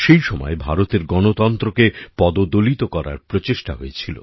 সেই সময় ভারতের গণতন্ত্রকে পদদলিত করার প্রচেষ্টা হয়েছিল